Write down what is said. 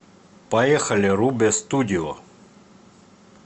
поехали рубе студио